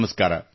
ನಮಸ್ಕಾರ